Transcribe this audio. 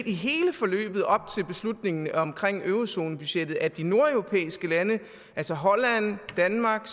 i hele forløbet op til beslutningen om eurozonebudgettet at de nordeuropæiske lande altså holland danmark